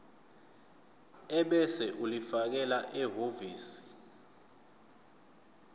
ebese ulifakela ehhovisi